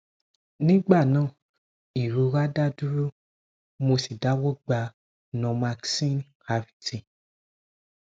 nigba naa irora da duro mo si dawọ gba normaxin rt